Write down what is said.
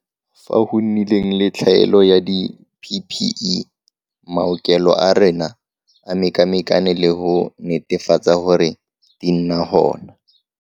Fao go nnileng le tlhaelo ya di-PPE, maokelo a rona a mekamekane le go netefatsa gore di nna gona.